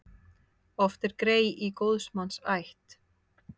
Oft er grey í góðs manns ætt.